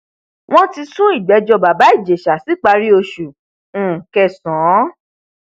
wọn ti sún ìgbẹjọ bàbá ìjẹsà síparí oṣù um kẹsàn